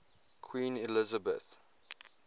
queen elizabeth